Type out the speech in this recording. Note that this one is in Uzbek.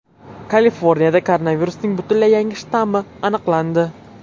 Kaliforniyada koronavirusning butunlay yangi shtammi aniqlandi.